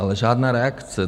Ale žádná reakce.